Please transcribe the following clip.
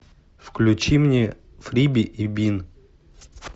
включи мне фриби и бин